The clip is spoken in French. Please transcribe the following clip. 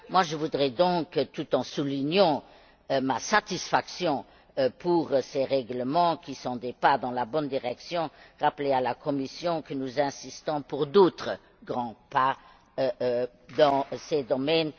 Je voudrais donc, tout en soulignant ma satisfaction face à ces règlements, qui sont des pas dans la bonne direction, rappeler à la Commission que nous insistons pour que d'autres grands pas soient faits dans ce domaine.